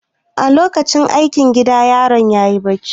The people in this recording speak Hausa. A lokacin yin aikin gida yaron ya yi bacci.